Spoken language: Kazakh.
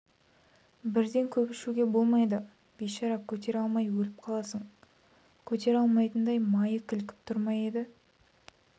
бірден көп ішуге болмайды бейшара көтере алмай өліп қаласың көтере алмайтындай майы кілкіп тұр ма еді